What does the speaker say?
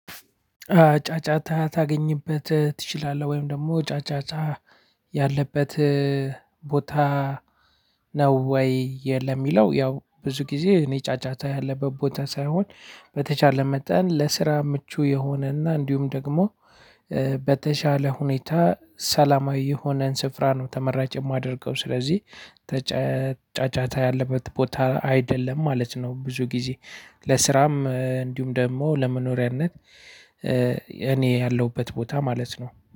ጫጫታ ታገኝበት ትችላለህ፤ ወይም ደግሞ ጫጫታ ያለበት ቦታ ነው ወይ? የለም የሚለው ያው ብዙ ጊዜ እኔ ጫጫታ ያለበት ቦታ ሳይሆን በተቻለ መጠን ለስራ ምቹ የሆነና እንዲሁም ደግሞ በተቻለ ሁኔታ ሰላማዊ የሆነን ስፍራ ነው ተመራጭ የማደርገው። ስለዚህ ጫጫታ ያለበት ቦታ አይደለም ማለት ነው። ብዙ ጊዜ ለስራም እንዲሁም ደግሞ ለመኖሪያነት። እኔ ያለሁበት ቦታ ማለት ነው።